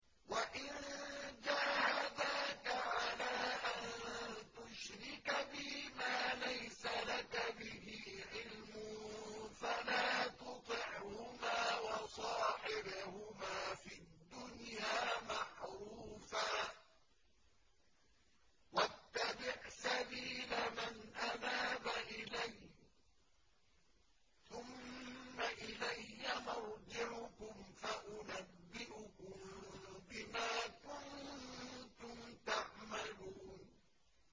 وَإِن جَاهَدَاكَ عَلَىٰ أَن تُشْرِكَ بِي مَا لَيْسَ لَكَ بِهِ عِلْمٌ فَلَا تُطِعْهُمَا ۖ وَصَاحِبْهُمَا فِي الدُّنْيَا مَعْرُوفًا ۖ وَاتَّبِعْ سَبِيلَ مَنْ أَنَابَ إِلَيَّ ۚ ثُمَّ إِلَيَّ مَرْجِعُكُمْ فَأُنَبِّئُكُم بِمَا كُنتُمْ تَعْمَلُونَ